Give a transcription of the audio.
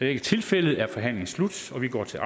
er tilfældet er forhandlingen slut og vi går til